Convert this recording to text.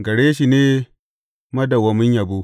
Gare shi ne madawwamin yabo.